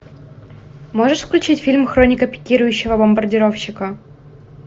можешь включить фильм хроника пикирующего бомбардировщика